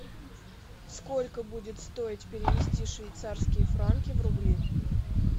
сколько будет стоить перевести швейцарские франки в рубли